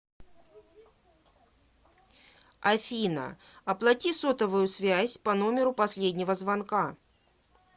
афина оплати сотовую связь по номеру последнего звонка